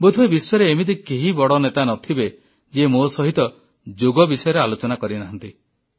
ବୋଧହୁଏ ବିଶ୍ୱରେ ଏମିତି କେହି ବଡ଼ ନେତା ନ ଥିବେ ଯିଏ ମୋ ସହିତ ଯୋଗ ବିଷୟରେ ଆଲୋଚନା କରିନାହାନ୍ତି